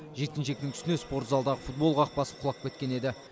жеткіншектің үстіне спорт залдағы футбол қақпасы құлап кеткен еді